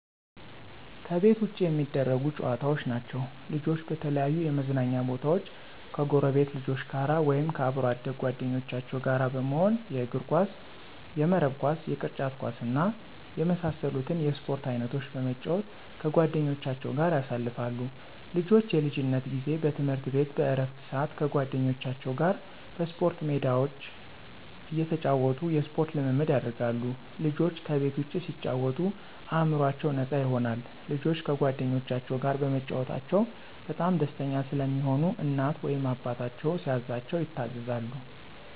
ከቤት ውጭ የሚደረጉ ጨዋታዎች ናቸዉ። ልጆች በተለያዩ የመዝናኛ ቦታወች ከጎረቤት ልጆች ጋር ወይም ከአብሮ አደግ ጓደኞቻቸው ጋር በመሆን የእግርኳስ፣ የመረብ ኳስ፣ የቅርጫት ኳስ እና የመሳሰሉትን የስፖርት አይነቶች በመጫወት ከጓደኞቻቸው ጋር ያሳልፋሉ። ልጆች የልጅነት ጊዜ በትምህርት ቤት በእረፍት ስአት ከጓደኞቻቸው ጋር በስፖርት ሜዳቸው እየተጫወቱ የስፖርት ልምምድ ያደርጋሉ። ልጆች ከቤት ውጭ ሲጫወቱ አእምሮአቸው ነፃ ይሆናል። ልጆች ከጓደኞቻቸው ጋር በመጫወታቸው በጣም ደስተኛ ስለሚሆኑ እናት ወይም አባታቸው ሲያዛቸው ይታዘዛሉ።